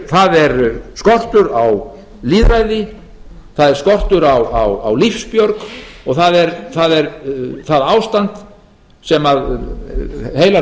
það er skortur á lýðræði það er skortur á lífsbjörg og það er það ástand sem heilar þjóðir